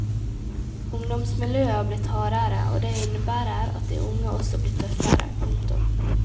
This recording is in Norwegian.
Ungdomsmiljøet har blitt hardere og det innebærer at de unge også blir tøffere. punktum